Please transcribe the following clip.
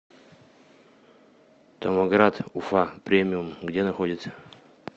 томоград уфа премиум где находится